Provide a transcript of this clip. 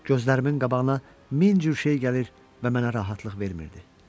Gözlərimin qabağına min cür şey gəlir və mənə rahatlıq vermirdi.